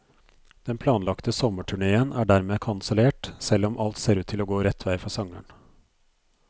Den planlagte sommerturnéen er dermed kansellert, selv om alt ser ut til å gå rett vei for sangeren.